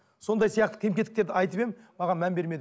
сондай сияқты кем кетіктерді айтып едім маған мән бермеді